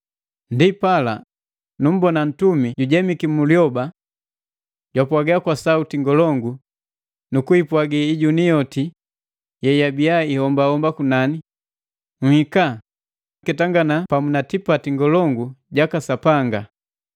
Ndipala, numbona ntumi jujemiki mu lyoba. Japwaga kwa sauti ngolongu nu kwiipwagi ijuni yoti yeyabiya ihomba kunani, “Nhika! Nketangana pamu pa tipati ngolongu jaka Sapanga.